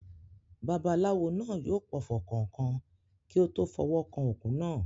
Babaláwo náà yóò pọfọ̀ kọ̀ọ̀kan kí ó tó fọwọ́ kan òkú náà.